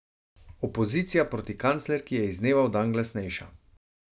Opozicija proti kanclerki je iz dneva v dan glasnejša.